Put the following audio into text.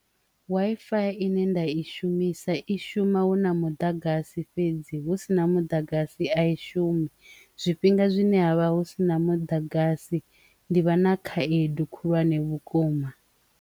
Wi-fi ine nda i shumisa i shuma huna muḓagasi fhedzi hu si na muḓagasi a i shumi zwifhinga zwine havha hu si na muḓagasi ndi vha na khaedu khulwane vhukuma.